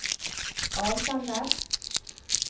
avsender